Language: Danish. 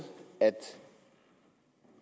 at